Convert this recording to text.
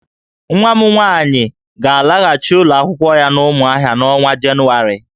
Nwa m nwaanyị ga-alaghachị ụlọ akwụkwọ ya n'Ụmụahịa n'ọnwa Jenụwarị